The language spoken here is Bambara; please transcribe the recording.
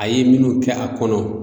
A ye minnu kɛ a kɔnɔ